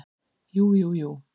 Jú, jú, jú.